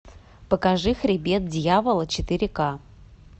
покажи хребет дьявола четыре к